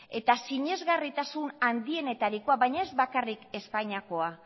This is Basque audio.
eta sinesgarritasun handienetarikoa baina ez bakarrik espainiakoa